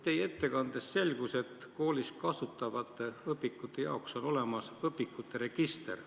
Teie ettekandest selgus, et koolis kasutatavate õpikute kohta on olemas register.